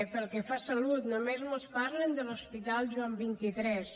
pel que fa a salut només mos parlen de l’hospital joan xxiii